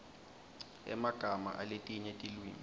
emagama aletinye tilwimi